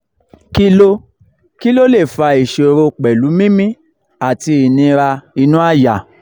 kí ló kí ló lè fa ìṣòro pleu mimi àti inira inú àyà?